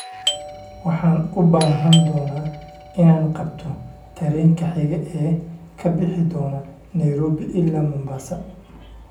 Waxaan u baahan doonaa inaan qabto tareenka xiga ee ka bixi doona Nairobi ilaa Mombasa